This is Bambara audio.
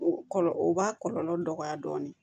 O kɔlɔlɔ o b'a kɔlɔlɔ dɔgɔya dɔɔni